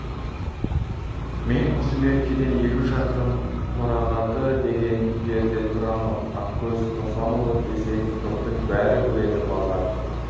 мен осы меркеден елу шақырым қорағаты деген жерде тұрамын ақкөз қосанұлы десең жұрттың бәрі біледі базар